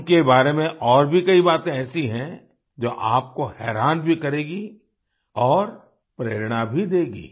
उनके बारे में और भी कई बातें ऐसी हैं जो आपको हैरान भी करेगी और प्रेरणा भी देगी